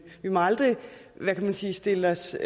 vi må aldrig hvad kan man sige stille os